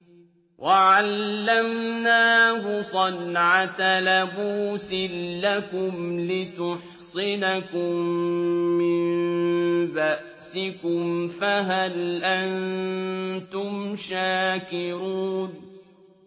وَعَلَّمْنَاهُ صَنْعَةَ لَبُوسٍ لَّكُمْ لِتُحْصِنَكُم مِّن بَأْسِكُمْ ۖ فَهَلْ أَنتُمْ شَاكِرُونَ